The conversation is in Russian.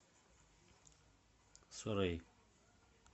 суррей